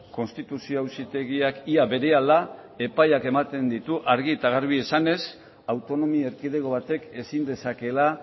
konstituzio auzitegiak ia berehala epaiak ematen ditu argi eta garbi esanez autonomia erkidego batek ezin dezakeela